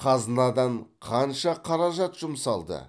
қазынадан қанша қаражат жұмсалды